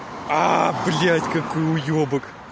блядь какой уёбак